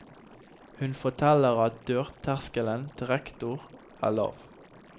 Hun forteller at dørterskelen til rektor er lav.